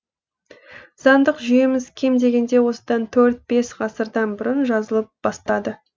заңдық жүйеміз кем дегенде осыдан төрт бес ғасырдан бұрын жазылып бастады